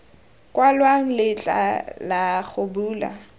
kwalwang letlha la go bula